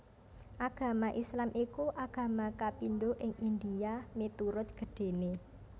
Agama Islam iku agama kapindho ing India miturut gedhéné